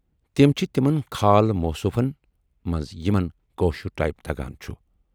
تِم چھِ تِمن خال موصوفن منٛز یِمن کٲشُر ٹایِپ تگان چھُ۔